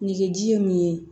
Nege ji ye min ye